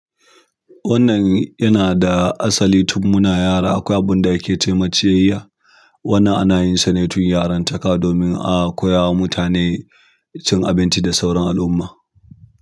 Wannan yana da asali tun muna yara, akwai abunda ake cema ciyaya. Wannan ana yin sa ne tun yaran taka domin a koya wa mutane cin abinci da sauran al'umma.